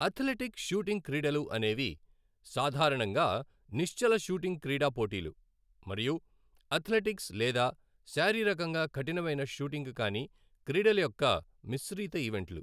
Athletic shooting క్రీడలు అనేవి, సాధారణంగా నిశ్చల షూటింగ్ క్రీడా పోటీలు, మరియు అథ్లెటిక్స్ లేదా శారీరకంగా కఠినమైన షూటింగ్ కాని క్రీడల యొక్క మిశ్రీత ఈవెంట్లు.